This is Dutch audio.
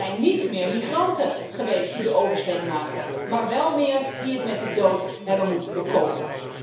Er zijn niet meer migranten geweest die de oversteek maakten, maar wel meer die het met de dood hebben moeten bekopen.